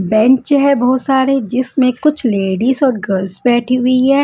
Bench है बहुत सारे जिसमें कुछ लेडीज और गर्ल्स बैठी हुई है।